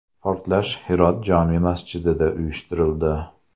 Portlash Hirot jome masjidida uyushtirildi.